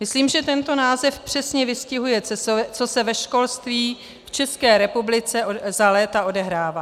Myslím, že tento název přesně vystihuje, co se ve školství v České republice za léta odehrává.